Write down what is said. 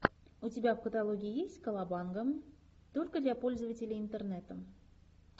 у тебя в каталоге есть колобанга только для пользователей интернета